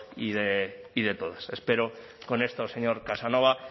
y de todas espero con esto señor casanova